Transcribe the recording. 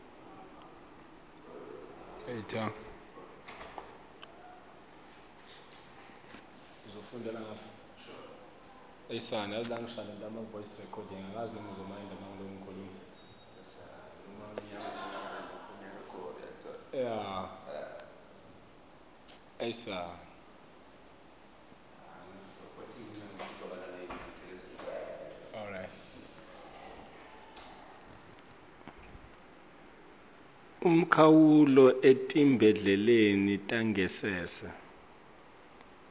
umkhawulo etibhedlela tangasese